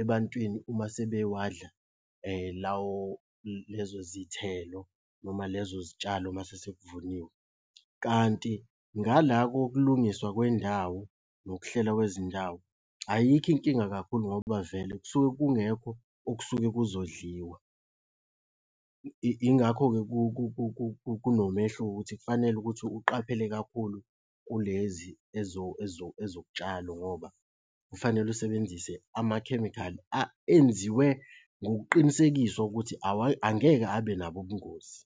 ebantwini uma sebewadla lawo lezo zithelo noma lezo zitshalo uma sekuvuniwe, kanti ngala kokulungiswa kwendawo nokuhlela kwezindawo, ayikho inkinga kakhulu ngoba vele kusuke kungekho okusuke kuzodliwa. Ingakho-ke kunomehluko ukuthi kufanele ukuthi uqaphele kakhulu kulezi ezokutshalo ngoba kufanele usebenzise amakhemikhali enziwe ngokuqinisekiswa ukuthi angeke abe nabo ubungozi.